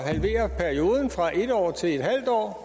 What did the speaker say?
halvere perioden fra en år til en halv år